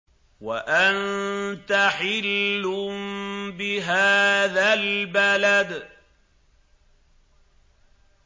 وَأَنتَ حِلٌّ بِهَٰذَا الْبَلَدِ